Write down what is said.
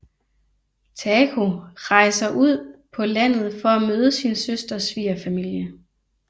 Taeko rejser ud på landet for at møde sin søsters svigerfamilie